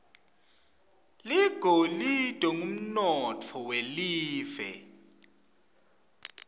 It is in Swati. ligolide ngumnotfo welive